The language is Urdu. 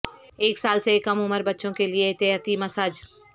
ایک سال سے کم عمر بچوں کے لئے احتیاطی مساج